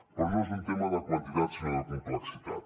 però no és un tema de quantitat sinó de complexitat